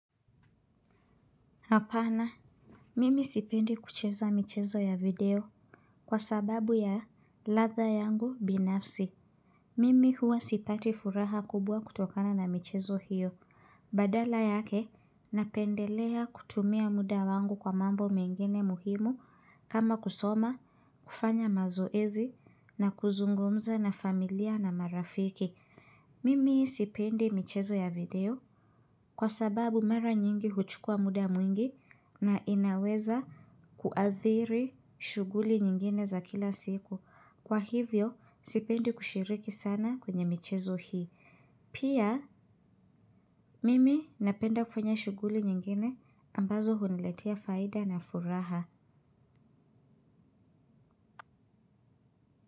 Hapana mimi sipendi kucheza michezo ya video kwa sababu ya ladha yangu binafsi mimi huwa sipati furaha kubwa kutokana na michezo hiyo badala yake napendelea kutumia muda wangu kwa mambo mengine muhimu kama kusoma kufanya mazoezi na kuzungumza na familia na marafiki mimi sipendi michezo ya video. Kwa sababu mara nyingi huchukua muda mwingi na inaweza kuathiri shughuli nyingine za kila siku. Kwa hivyo, sipendi kushiriki sana kwenye michezo hii. Pia, mimi napenda kufanya shughuli nyingine ambazo huniletea faida na furaha.